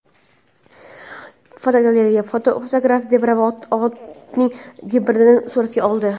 Fotogalereya: Fotograf zebra va otning gibridini suratga oldi.